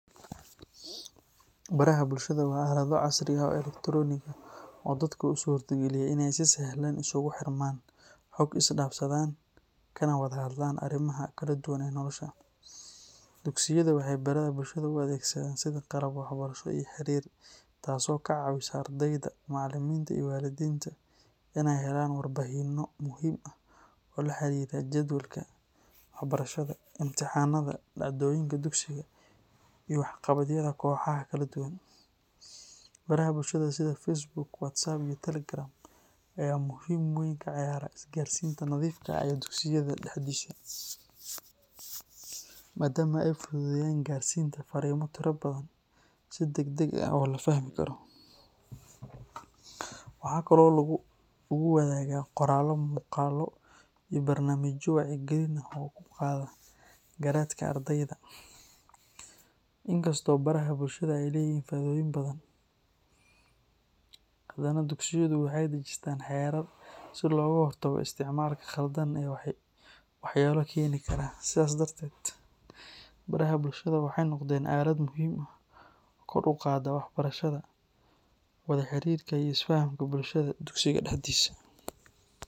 Baraha bulshada waa aalad casri ah oo electronic ah oo dadka u suurtagelisa inay si sahlan isku xirmaan, xog is dhaafsadaan, kana wada hadlaan arrimaha kala duwan ee nolosha. Dugsiyada waxay baraha bulshada u isticmaalaan sida baraha waxbarashada iyo xiriirka, taasoo ka caawisa macallimiinta iyo waalidiinta inay helaan warbixino la xiriira jadwalka waxbarashada, imtixaanaadka, dhacdooyinka dugsiga, iyo waxqabadyo kala duwan. Baraha bulshada sida Facebook, WhatsApp, iyo Telegram ayaa door weyn ka ciyaara isgaarsiinta nadiifta ah ee dugsiyada dhexdiisa, maadaama ay fududeynayaan gaarsiinta fariimo tiro badan si degdeg ah oo la fahmi karo. Waxaa kale oo lagu wadaagaa qoraallo, muuqaallo, iyo barnaamijyo wacyigelin ah oo kor u qaada garashada ardayda. Inkastoo baraha bulshada ay leeyihiin faa’iidooyin badan, haddana dugsiyada waxay dejistaan xeerar si looga hortago isticmaalka qaldan iyo waxyaabaha keeni karo dhibaato. Sidaas darteed, baraha bulshada waxay noqdeen aalad muhiim ah oo kor u qaadda waxbarashada, wada-xiriirka, iyo is-fahanka bulshada ee dugsiga dhexdiisa.